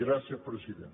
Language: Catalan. gràcies president